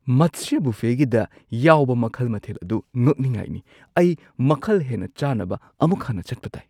ꯃꯠꯁ꯭ꯌꯥ ꯕꯨꯐꯦꯒꯤꯗ ꯌꯥꯎꯕ ꯃꯈꯜ ꯃꯊꯦꯜ ꯑꯗꯨ ꯉꯛꯅꯤꯉꯥꯢꯅꯤ! ꯑꯩ ꯃꯈꯜ ꯍꯦꯟꯅ ꯆꯥꯅꯕ ꯑꯃꯨꯛ ꯍꯟꯅ ꯆꯠꯄ ꯇꯥꯢ꯫